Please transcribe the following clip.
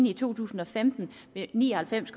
i to tusind og femten vil ni og halvfems